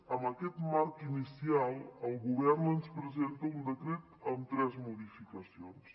amb aquest marc inicial el govern ens presenta un decret amb tres modificacions